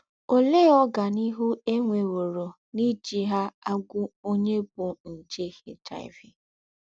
Óléé ọ́ganíhù è nwèwòrò n’íjí hà àgwụ́ ònyè bú njè HIV?